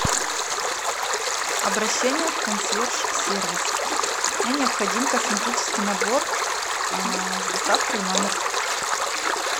обращение в консьерж сервис мне необходим косметический набор с доставкой в номер